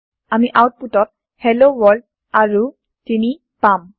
আমি আওতপুতত hello world আৰু ৩ পাম